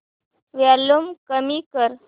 volume कमी कर